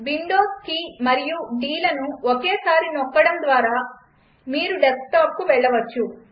Windows key మరియు Dలను ఒకేసారి నొక్కడం ద్వారా కూడా మీరు డెస్క్టాప్కు వెళ్లవచ్చు